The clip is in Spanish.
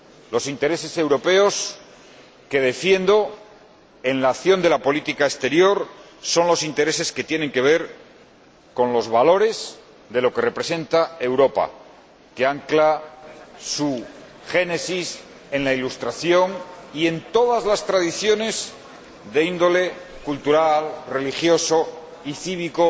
Los intereses europeos que defiendo en la acción de la política exterior son los intereses que tienen que ver con los valores de lo que representa Europa, que ancla su génesis en la Ilustración y en todas las tradiciones de índole cultural, religiosa y cívica,